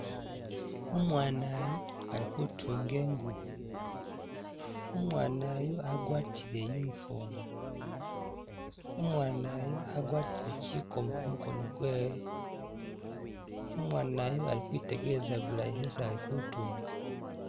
Umwana yu ali kutuunge ngubo, umwana yu agwatile uniform, umwana yu agwatile kikoomo kumukoono kwewe, umwana yu ali kwitegeelesa bulayi esi ali kutuunga